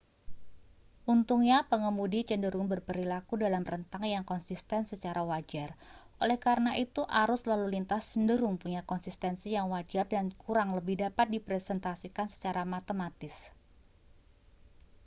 untungnya pengemudi cenderung berperilaku dalam rentang yang konsisten secara wajar oleh karena itu arus lalu lintas cenderung punya konsistensi yang wajar dan kurang lebih dapat direpresentasikan secara matematis